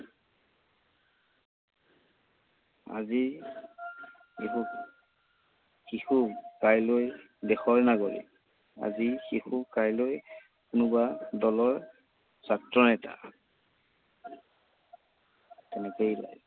আজিৰ শিশু শিশু কাইলৈৰ দেশৰ নাগৰিক। আজি শিশু কাইলৈ কোনোবা দলৰ ছাত্ৰনেতা।